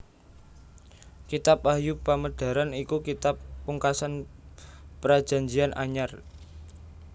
Kitab Wahyu Pamedaran iku kitab pungkasan Prajanjian Anyar